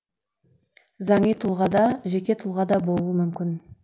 заңи тұлға да жеке тұлға да болуы мүмкін